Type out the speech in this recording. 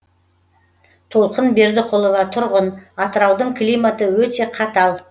толқын бердіқұлова тұрғын атыраудың климаты өте қатал